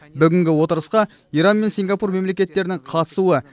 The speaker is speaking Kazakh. бүгінгі отырысқа иран мен сингапур мемлекеттерінің қатысуы